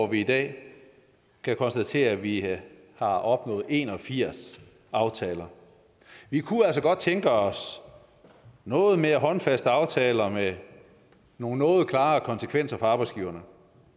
vi i dag kan konstatere at vi har opnået en og firs aftaler vi kunne altså godt tænke os noget mere håndfaste aftaler med nogle noget klarere konsekvenser for arbejdsgiverne